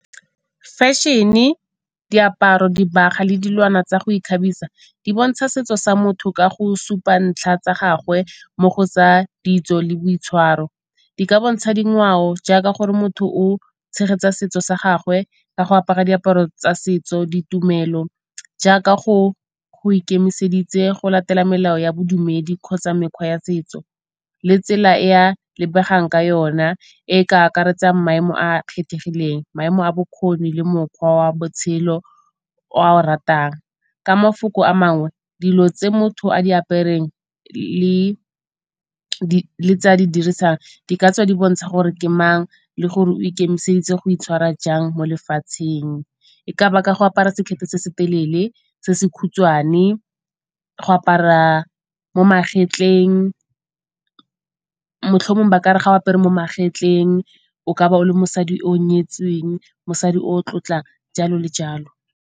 Fešene, diaparo, dibaga le dilwana tsa go ikgabisa di bontsha setso sa motho ka go supa ntlha tsa gagwe mo go tsa ditso le boitshwaro. Di ka bontsha dingwao jaaka gore motho o tshegetsa setso sa gagwe ka go apara diaparo tsa setso, ditumelo jaaka go ikemiseditse go latela melao ya bodumedi kgotsa mekgwa ya setso le tsela ea lebegang ka yona e ka akaretsang maemo a a kgethegileng, maemo a bokgoni le mokgwa wa botshelo o ao ratang. Ka mafoko a mangwe dilo tse motho a di apereng le tse a di dirisang di ka tswa di bontsha gore ke mang le gore o ikemiseditse go itshwara jang mo lefatsheng. E ka ba ka go apara sekhete se se telele, se se khutshwane, go apara mo magetleng, motlho mongwe ba ka re ga o apere mo magetleng o ka ba o le mosadi yoo nyetsweng, mosadi o tlotlang, jalo le jalo.